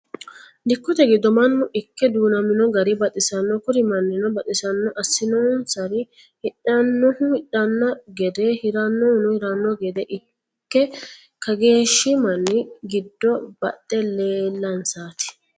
dikotte giddo mannu ike duunnamino gari baxisanno kuri manino baxisano asinonsari hidhannohu hidhanno gede hiranohuno hiranohu gedde ike kageeshi manni giddo baxe leelansaati.